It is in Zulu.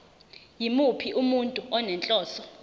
yimuphi umuntu onenhloso